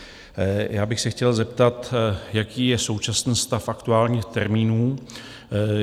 Já bych se chtěl zeptat, jaký je současný stav aktuálních termínů?